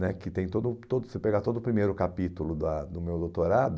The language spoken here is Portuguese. né que tem todo todo, você pegar todo o primeiro capítulo da do meu doutorado,